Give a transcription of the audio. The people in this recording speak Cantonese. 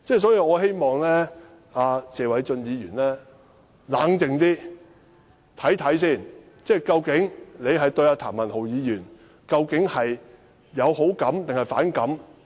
所以，我希望謝偉俊議員冷靜一點，看清楚他對譚議員究竟有好感還是反感？